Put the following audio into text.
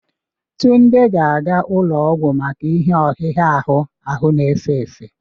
Tunde ga-aga ụlọọgwụ maka ihe ọhịgha ahụ ahụ n'efe efe